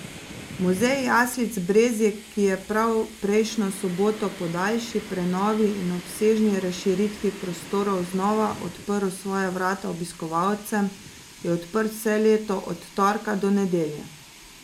Muzej jaslic Brezje, ki je prav prejšnjo soboto po daljši prenovi in obsežni razširitvi prostorov znova odprl svoja vrata obiskovalcem, je odprt vse leto od torka do nedelje.